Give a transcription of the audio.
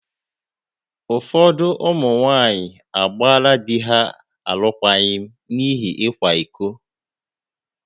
Ụfọdụ ụmụ nwaanyị agbaala di ha alụkwaghịm n’ihi ịkwa iko.